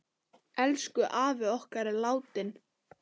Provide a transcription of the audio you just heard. Elsku afi okkar er látinn.